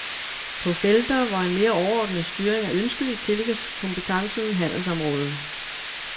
På felter, hvor en mere overordnet styring er ønskelig, tillægges kompetencen handelsområdet.